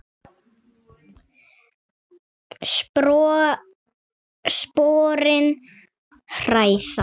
Sporin hræða.